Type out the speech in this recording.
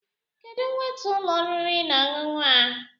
Kedụ weta ụlọ oriri na ọṅụṅụ a?